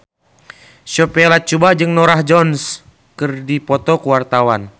Sophia Latjuba jeung Norah Jones keur dipoto ku wartawan